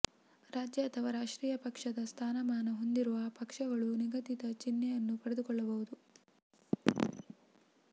ರಾಜ್ಯ ಅಥವಾ ರಾಷ್ಟ್ರೀಯ ಪಕ್ಷ ದ ಸ್ಥಾನಮಾನ ಹೊಂದಿರುವ ಪಕ್ಷ ಗಳು ನಿಗದಿತ ಚಿಹ್ನೆಯನ್ನು ಪಡೆದುಕೊಳ್ಳಬಹುದು